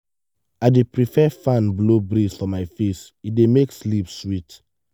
i dey prefer fan blow breeze for my face e dey make sleep sweet.